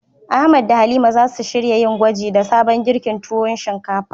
Ahmad da Halima zasu shirya yin gwaji da sabon girkin tuwo shinkafa.